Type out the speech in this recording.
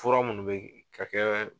Fura minnu bɛ ka kɛ